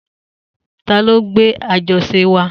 Ta lo gbé àjọṣe wa?